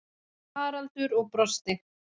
Haraldur og brosti.